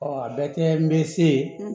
a bɛɛ tɛ n bɛ se yen